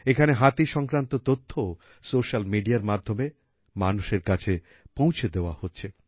এখানে হাতি সংক্রান্ত তথ্যও সোশিয়াল মেডিয়া এর মাধ্যমে মানুষের কাছে পৌঁছে দেওয়া হচ্ছে